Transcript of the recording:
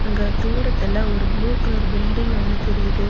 அங்க தூரத்துல ஒரு ப்ளூ கலர் பில்டிங் ஒன்னு தெரியிது.